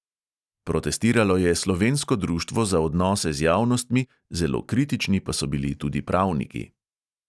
Protestiralo je slovensko društvo za odnose z javnostmi, zelo kritični pa so bili tudi pravniki.